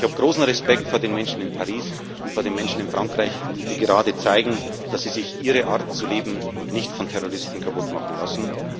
Ich habe großen Respekt vor den Menschen in Paris, vor den Menschen in Frankreich, die gerade zeigen, dass sie sich ihre Art zu leben nicht von Terroristen kaputt machen lassen.